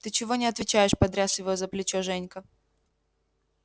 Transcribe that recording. ты чего не отвечаешь потряс его за плечо женька